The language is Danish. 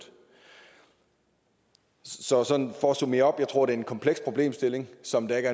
så sådan for at summere op jeg tror det en kompleks problemstilling som der